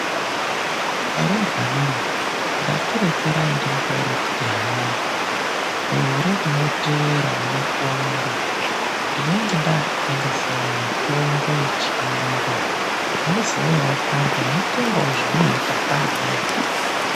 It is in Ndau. Arumbwanemu ndati rekerai ndikutaurirei kuti hai gore rinoteera munakuamba ndinenge ndaakutengesawo mitombo yechiyungu muzouyawo kwangu mweitengawo zvemunoita kweamweni.